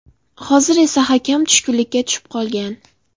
Hozir esa hakam tushkunlikka tushib qolgan .